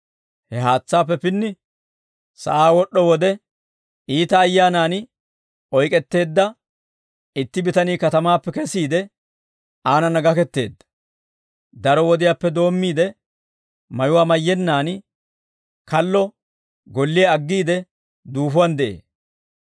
He haatsaappe pinni sa'aa wod'd'o wode, iita ayyaanan oyk'etteedda itti bitanii, katamaappe kesiide aanana gaketteedda. Daro wodiyaappe doommiide mayuwaa mayyennaan kallo golliyaa aggiide duufuwaan de'ee.